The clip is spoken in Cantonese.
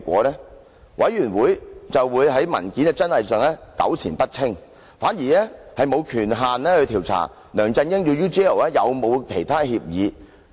專責委員會便會在文件的真偽上糾纏不清，反而沒有權限調查梁振英與 UGL 有否其他協議。